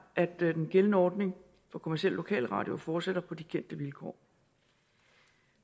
at den gældende ordning for kommercielle lokalradioer fortsætter på de kendte vilkår